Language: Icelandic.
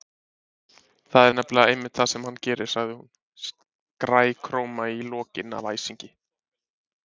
Það er nefnilega einmitt það sem hann gerir- sagði hún, skrækróma í lokin af æsingi.